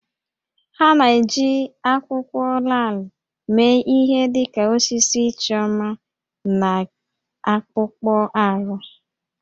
Ha na-eji akwụkwọ laalị mee ihe dị ka osisi ịchọ mma na akpụkpọ ahụ